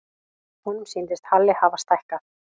Honum sýndist Halli hafa stækkað.